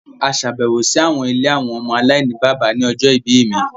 À ṣabẹwo si awọn ìlé awọn ọmọ alainibaba ni ọjọ ibi mi